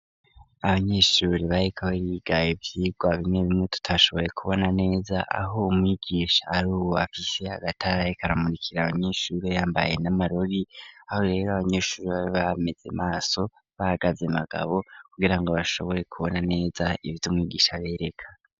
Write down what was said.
Abanyeshuri bareka barigaye ivyirwa bimwe bimwe tutashobore kubona neza aho mwigisha ari uwo bafise agatarye karamurikira abanyeshurrio yambaye n'amarori aho rero abanyeshururi babe bameze maso bagaze magabo kugira ngo bashobore kubona neza ivyo umwigisha bereka.